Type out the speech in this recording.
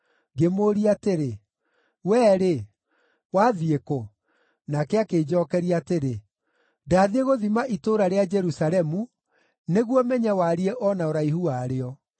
Ngĩmũũria atĩrĩ, “Wee-rĩ, wathiĩ kũ?” Nake akĩnjookeria atĩrĩ, “Ndathiĩ gũthima itũũra rĩa Jerusalemu, nĩguo menye wariĩ o na ũraihu warĩo.”